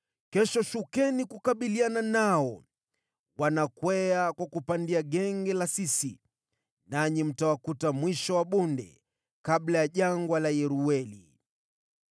Kesho shukeni kukabiliana nao. Watakwea kwa kupandia Genge la Sisi, nanyi mtawakuta mwisho wa bonde, kabla ya Jangwa la Yerueli.